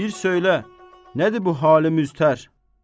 Bir söylə, nədir bu halı müztər?